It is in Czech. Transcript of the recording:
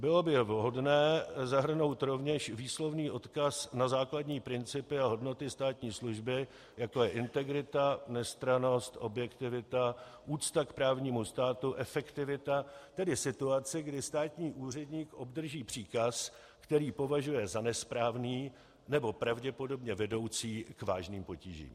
Bylo by vhodné zahrnout rovněž výslovný odkaz na základní principy a hodnoty státní služby, jako je integrita, nestrannost, objektivita, úcta k právnímu státu, efektivita; tedy situaci, kdy státní úředník obdrží příkaz, který považuje za nesprávný nebo pravděpodobně vedoucí k vážným potížím.